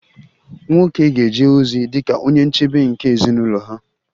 Nwoke ga-eje ozi dị ka onye nchebe nke ezinụlọ ha